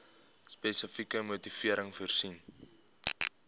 spesifieke motivering voorsien